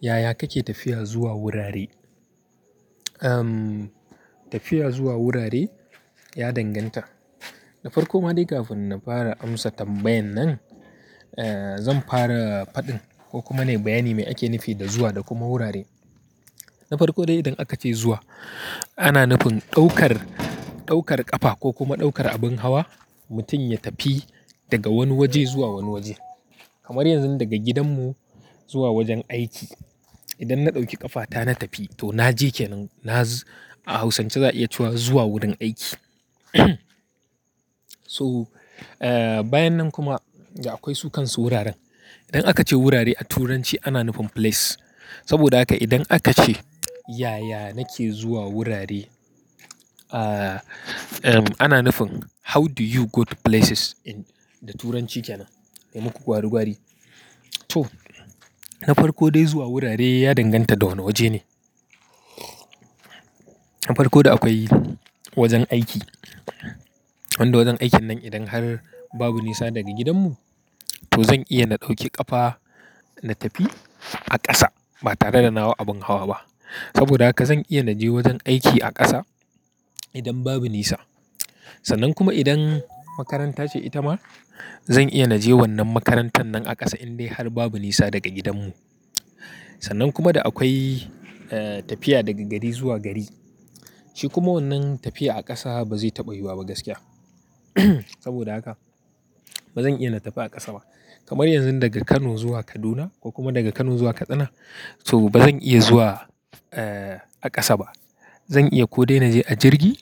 Yaya kake tafiya zuwa wurare? Tafiya zuwa wurare ya danganta. Da farko ma dai kafin na fara amsa tambayan nan, zan fara faɗin ko kuma ne bayani me ake nufi da zuwa da kuma wurare. Na farko idan akace zuwa ana nufin ɗaukar ɗaukar kafa kokuma ɗaukar abin hawa mutum ya tafi daga wani waje zuwa waje. Kamar yanzu daga gidanmu zuwa wajen aiki. Idan na ɗauki ƙafata na tafi to naje kenan nazo a Hausance za a iya cewa zuwa wurin aiki to, bayan nan kuma da akwai su kansu wuraren. In aka ce wurare a turanci ana nufin place. Saboda haka idan aka ce yaya nake zuwa wurare, ana nufin how do you go to places da turanci kenan. Na muku gwari gwari. To, na farko dai zuwa wurare ya danganta da wane waje ne. Na farko da akwai wajen aiki. Wanda wajen aikin nan idan har babu nisa daga gidanmu, to zan iya na ɗauki ƙafa na tafi a ƙasa ba tare da hau abin hawa ba. Saboda haka zan iya na je wajen aiki a ƙasa idan babu nisa. Sannan kuma idan makaranta ce ita ma, zan iya na je wannan makarantar nan a ƙasa in dai har babu nisa daga gidanmu. Sannan kuma da akwai tafiya daga gari zuwa gari. Shi kuma wannan tafiya a ƙasa ba zai taɓa yiwuwa ba gaskiya. Saboda haka bazan iya na tafi a ƙasa ba kamar yanzu daga kano zuwa Kaduna ko kuma daga kano zuwa kasina to bazan iya zuwa a kasa ba zan iya ko dai na je a jirgi,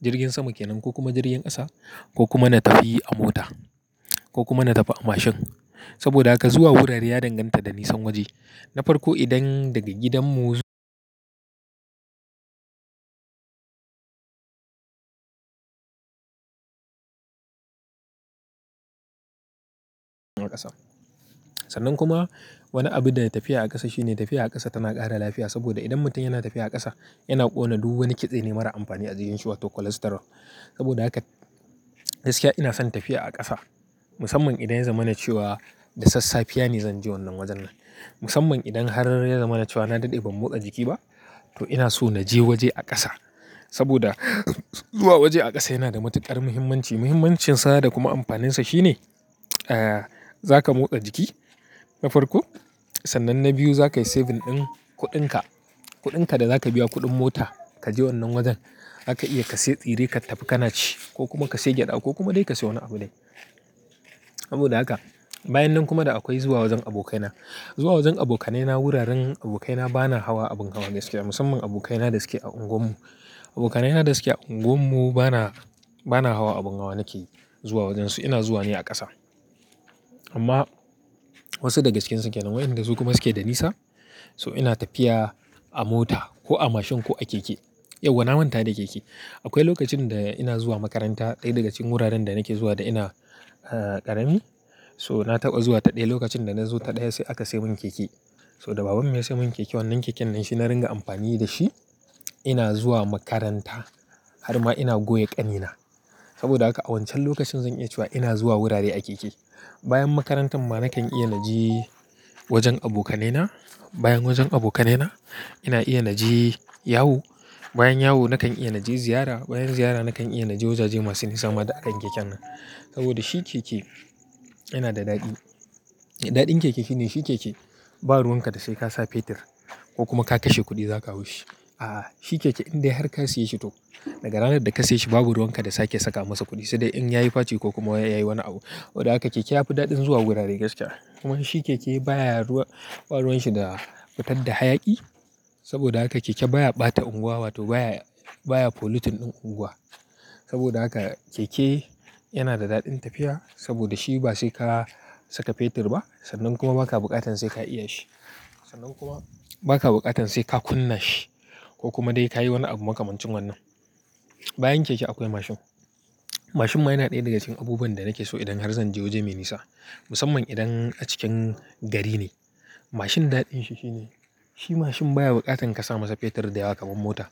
jirgin sama kenan ko kuma jirgin ƙasa ko kuma na tafi a mota ko kuma na tafi a mashin. Saboda haka zuwa wurare ya danganta da nisan waje. Na farko idan daga gidanmu zu-- a ƙasa. Sannan kuma wani abu da tafiya a ƙasa shine tafiya a ƙasa tana ƙara lafiya saboda idan mutum yana tafiya a ƙasa yana kona duk wani kitsene marar anfani wato cholesterol saboda haka gaskiya ina son tafiya a ƙasa. Musamman idan ya zama na ciwo da sassafe ne zan je wannan wajen nan. Musamman idan har ya zama na ciwo na daɗe ban motsa jiki ba, to ina so na je waje a ƙasa. Saboda zuwa waje a ƙasa yana da matuƙar muhimmanci. Muhimmancinsa da kuma amfaninsa shi ne zaka motsa jiki na farko. Sannan na biyu zakayi saving ɗin kuɗinka. Kuɗinka da zaka biya kuɗin mota ka je wannan wajen, zaka iya ka sayi tsire ka tafi ka ci ko kuma ka sayi gyada ko kuma dai ka sayi wani abu dai. Saboda haka bayan nan kuma da akwai zuwa wajen abokaina. Zuwa wajen abokanaina wuraren abokaina bana hawa abin hawa mai gaskiya musamman abokaina da suke a unguwar mu. Abokanaina da suke a unguwar mu bana, bana hawa abin hawa nake zuwa wajen su. Ina zuwa ne a ƙasa. Amma wasu da gaskiya cikinsu kenan wayan da su kuma suke da nisa. So ina tafiya a mota ko a mashin ko a keke. Yauwa na manta da keke. Akwai lokacin da ina zuwa makaranta ɗaya daga cikin wuraren da nake zuwa da ina ƙarami. So na taɓa zuwa ta ɗaya lokacin da na zo ta ɗaya sai aka sayi mun keke. So da baban mu ya sayo mun keke wannan keken nan shi na ringa amfani da shi ina zuwa makaranta har ma ina goya ƙanina. Saboda haka a wancan lokacin zan iya cewa ina zuwa wurare a keke. Bayan makarantan ma nakan iya na je wajen abokanaina. Bayan wajen abokanaina ina iya na je yawo. Bayan yawo nakan iya na je ziyara. Bayan ziyara nakan iya na je wajaje masu nisa ma duk akan keken nan. Saboda shi keke yana da daɗi. Daɗin keke shi ne shi keke babu ruwanka da sai ka sa fetir ko kuma ka kashe kuɗi zaka hau shi. A'a, shi keke indai har ka saye shi to daga ranar da ka saye shi babu ruwan ka da sake saka masa kuɗi sai dai in ya yi faci ko kuma ya yi wani abu. Saboda haka keke ya fi daɗin zuwa wurare gaskiya. Kuma shi keke bayaruwa baruwanshi da fitar da hayaki saboda haka keke baya bata unguwa wato baya baya pollution din unguwa saboda haka keke yana da daɗin tafiya saboda shi ba sai ka saka fetir ba sannan kuma ba ka buƙatan sai ka iya shi. Sannan kuma ba ka buƙatan sai ka kunna shi ko kuma dai ka yi wani abu makamancin wannan. Bayan keke akwai mashin. Mashin ma yana ɗaya daga cikin abubuwan da nake so idan har zan je waje mai nisa. Musamman idan a cikin gari ne. Mashin daɗin shi shi ne shi mashin baya buƙatan ka sa masa fetir da yawa kamar mota.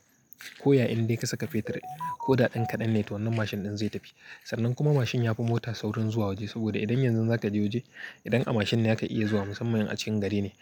Koya idai kasaka fetir koda ɗan kadan ne to wannan mashin ɗin zai tafi. Sannan kuma mashin yafi mota saurin zuwa waje saboda idan yanzu za ka je waje idan a mashin ne zaka iya zuwa musamman in a cikin gari ne.